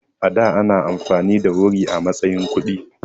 A da anyi amfani da wuri a matsayin kuɗi.